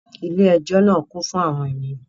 Ilé ẹjọ́ náà kún fún àwọn ènìyàn